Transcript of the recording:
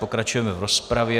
Pokračujeme v rozpravě.